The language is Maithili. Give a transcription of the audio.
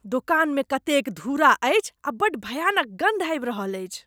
दोकानमे कतेक धूरा अछि आ बड्ड भयानक गन्ध आबि रहल अछि।